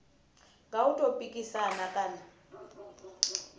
nga u tou pikisana kana